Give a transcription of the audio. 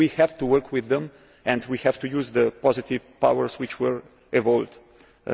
the top down. We have to work with them and we have to use the positive powers which